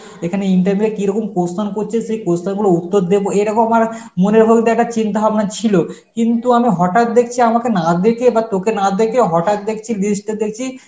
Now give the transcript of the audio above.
এখানে interview এ কী রকম question করছে, সেই question গুলোর উত্তর দেবো এরকম আমার মনের মধ্যে তো একটা চিন্তা ভাবনা ছিল, কিন্তু আমি হঠাৎ দেখছি আমাকে না ডেকে বা তোকে না ডেকে হঠাৎ দেখছি list এ দেখছি